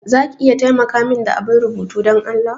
Za ki iya taimaka min da abun rubutu Dan Allah?